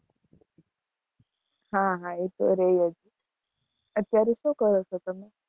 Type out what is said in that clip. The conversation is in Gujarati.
હા હા એ તો રે જ અત્યારે શું કરો છો તમે?